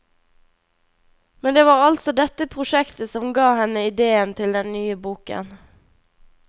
Men det var altså dette prosjektet som ga henne idéen til den nye boken.